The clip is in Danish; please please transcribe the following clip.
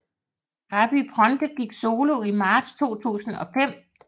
Gabry Ponte gik solo i marts 2005